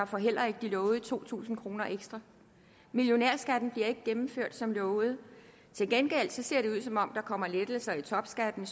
får heller ikke de lovede to tusind kroner ekstra millionærskatten bliver ikke gennemført som lovet til gengæld ser det ud som om der kommer lettelser af topskatten